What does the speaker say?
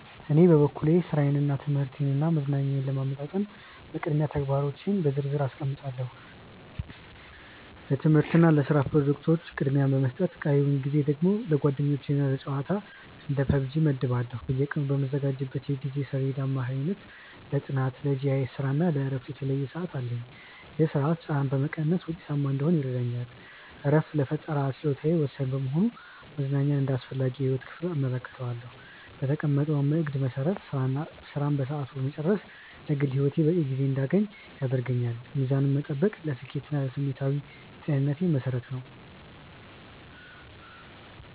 በኔ በኩል ሥራዬን ትምህርቴንና መዝናኛዬን ለማመጣጠን በቅድሚያ ተግባሮቼን በዝርዝር አስቀምጣለሁ። ለትምህርትና ለስራ ፕሮጀክቶች ቅድሚያ በመስጠት ቀሪውን ጊዜ ደግሞ ለጓደኞችና ለጨዋታ (እንደ PUBG) እመድባለሁ። በየቀኑ በምዘጋጀው የጊዜ ሰሌዳ አማካኝነት ለጥናት፣ ለGIS ስራና ለእረፍት የተለየ ሰዓት አለኝ። ይህ ስርዓት ጫናን በመቀነስ ውጤታማ እንድሆን ይረዳኛል። እረፍት ለፈጠራ ችሎታዬ ወሳኝ በመሆኑ መዝናኛን እንደ አስፈላጊ የህይወት ክፍል እመለከተዋለሁ። በተቀመጠው እቅድ መሰረት ስራን በሰዓቱ መጨረስ ለግል ህይወቴ በቂ ጊዜ እንድያገኝ ያደርገኛል። ሚዛኑን መጠበቅ ለስኬቴና ለስሜታዊ ጤንነቴ መሰረት ነው።